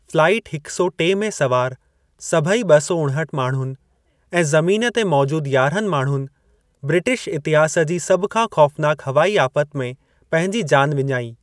Flight हिक सौ टे में सवार सभेई ॿ सौ उणहठि माणहुनि ऐं ज़मीन ते मौजूदु यारहनि माण्हुनि ब्रिटिश इतिहास जी सभु खां ख़ौफ़नाक हवाई आफ़त में पंहिंजी जान विञाई।